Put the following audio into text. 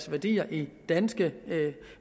værdier i danske